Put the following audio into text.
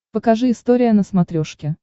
покажи история на смотрешке